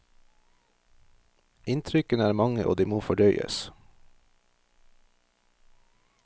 Inntrykkene er mange, og de må fordøyes.